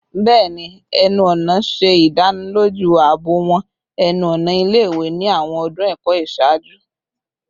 Bẹẹni, ẹnu-ọna ṣe idaniloju aabo awọn ẹnu-ọna ile-iwe ni awọn ọdun ẹkọ iṣaaju